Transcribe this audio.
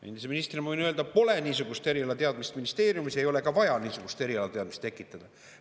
Endise ministrina ma võin öelda, et ministeeriumis pole niisugust erialateadmist, sinna ei ole ka vaja niisugust erialateadmist tekitada.